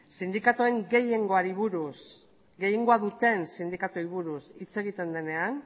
gehiengoa duten sindikatuei buruz hitz egiten denean